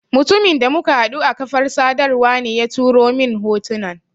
Mutumin da muka haɗu a kafar sadarwa ne ya turo mun hotunan.